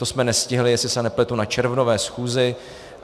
To jsme nestihli, jestli se nepletu, na červnové schůzi.